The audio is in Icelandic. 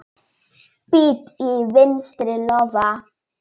Bit í vinstri lófa.